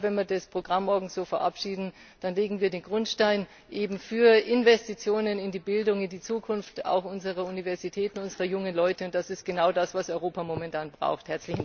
Ich glaube, wenn wir das Programm morgen so verabschieden, dann legen wir den Grundstein für Investitionen in die Bildung, in die Zukunft auch unserer Universitäten, unserer jungen Leute, und das ist genau das, was Europa momentan braucht!